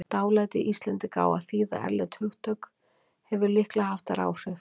Dálæti Íslendinga á að þýða erlend hugtök hefur líklega haft þar áhrif.